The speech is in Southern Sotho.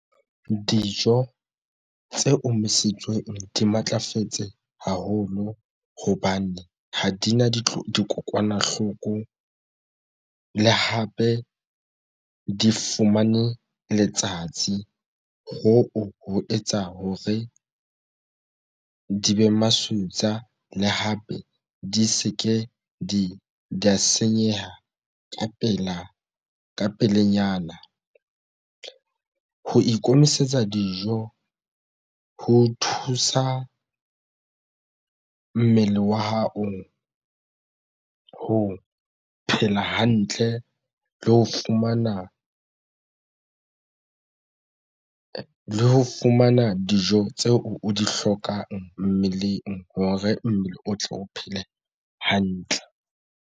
Dijo tse omisitsweng di matlafetse haholo hobane ha dina dikokwanahloko le hape di fumane letsatsi hoo ho etsa hore di be masutsa le hape di se ke di senyeha ka pela ka pelenyana. Ho ikemisetsa dijo ho thusa mmele wa hao ho phela hantle le ho fumana le ho fumana dijo tseo o di hlokang mmeleng hore mmele o tle o phele hantle.